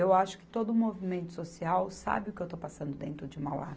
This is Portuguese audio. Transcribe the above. Eu acho que todo movimento social sabe o que eu estou passando dentro de Mauá.